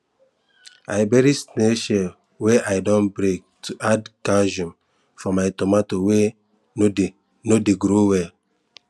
i bury snail shell wey i don break to add calcium for my tomato wey no dey no dey grow well